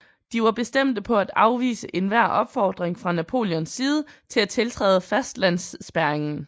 De var bestemte på at afvise enhver opfordring fra Napoleons side til at tiltræde fastlandsspærringen